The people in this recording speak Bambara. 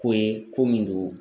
Ko ye ko min do.